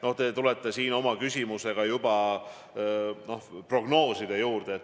Noh, te tulite oma küsimusega juba prognooside juurde.